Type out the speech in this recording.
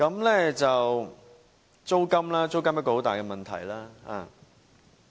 另外，租金是一個很大的問題。